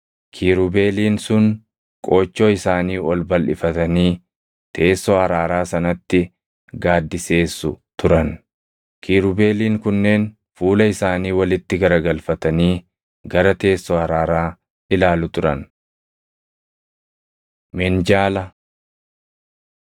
Kiirubeeliin sun qoochoo isaanii ol balʼifatanii teessoo araaraa sanatti gaaddiseessu turan. Kiirubeeliin kunneen fuula isaanii walitti garagalfatanii gara teessoo araaraa ilaalu turan. Minjaala 37:10‑16 kwf – Bau 25:23‑29